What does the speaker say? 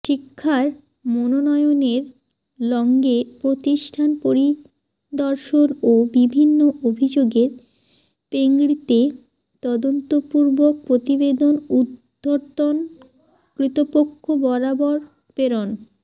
শিক্ষার মানোন্নয়নের লড়্গ্যে প্রতিষ্ঠান পরিদর্শন ও বিভিন্ন অভিযোগের প্রেড়্গিতে তদন্তপূর্বক প্রতিবেদন উর্ধ্বতন কর্তৃপক্ষ বরাবর প্রেরণ